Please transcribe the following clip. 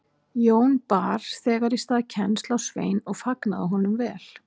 Jón bar þegar í stað kennsl á Svein og fagnaði honum vel.